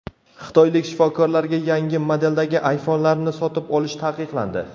Xitoylik shifokorlarga yangi modeldagi iPhone’larni sotib olish taqiqlandi.